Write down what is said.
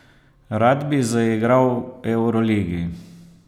Rad bi zaigral v evroligi.